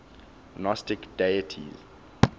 gnostic deities